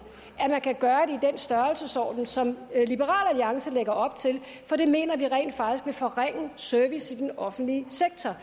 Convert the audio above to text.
at man kan gøre det i den størrelsesorden som liberal alliance lægger op til for det mener vi rent faktisk vil forringe servicen offentlige sektor